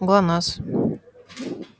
глонассс